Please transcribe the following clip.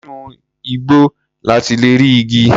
Inú igbó la ti lè rí igi.